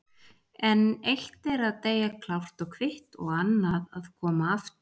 En eitt er að deyja klárt og kvitt og annað að koma aftur.